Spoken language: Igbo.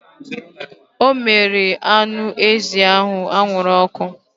Ọ mere anụ ezi ahụ anwụrụ ọkụ